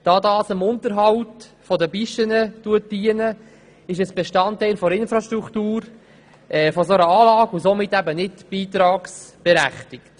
Da diese dem Unterhalt der Pisten dienen, sind sie Bestandteil der Infrastruktur solcher Anlagen und somit nicht beitragsberechtigt.